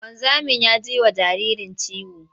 Wanzamin ya ji wa jaririn ciwo.